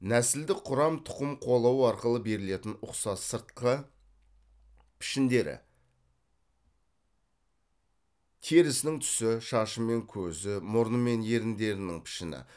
нәсілдік құрам тұқым қуалау арқылы берілетін ұқсас сыртқы пішіндері терісінің түсі шашы мен көзі мұрны мен еріндерінің пішіні